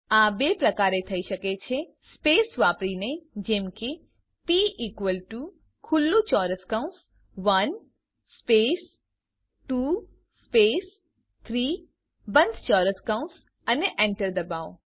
આ બે પ્રકારે થઇ શકે છે સ્પેસ વાપરીને જેમ કે પ ઇકવલ ટુ ખુલ્લું ચોરસ કૌંસ 1 સ્પેસ 2 સ્પેસ 3 બંધ ચોરસ કૌંસ અને enter દબાવો